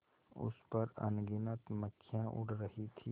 उस पर अनगिनत मक्खियाँ उड़ रही थीं